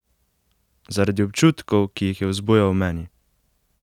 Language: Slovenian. Zaradi občutkov, ki jih je vzbujal v meni?